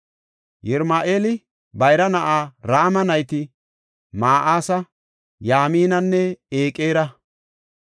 Yirama7eela bayra na7aa Rama nayti Ma7asa, Yaaminanne Eqera.